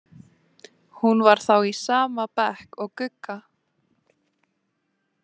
Hún var þá í sama bekk og Gugga!